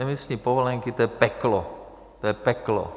Emisní povolenky, to je peklo, to je peklo.